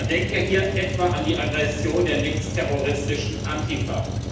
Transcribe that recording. Man denke hier etwa an die Aggression der linksterroristischen Antifa.